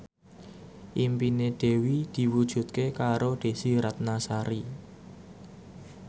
impine Dewi diwujudke karo Desy Ratnasari